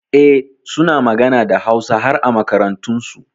Eh, suna magana da Hausa har a makarantunsu.